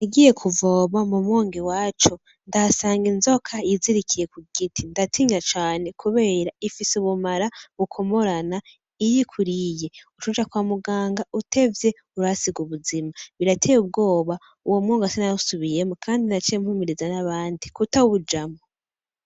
Nagiye kuvoma mu mwonga iwacu ndahasanga inzoko yizirikiye ku giti ndatinya cane kubera ifise ubumara bukomorana, iyo ikuriye ucuja kwa muganga , utevye urahasiga ubuzima , birateye ubwoba Uwo mwonga sinawusubiyemwo Kandi naciye mpimiriza n’abandi kutawujamwo.